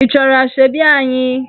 Ị chọrọ Asoebi anyị?